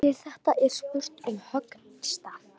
Sjáðu til, þetta er spurning um höggstað.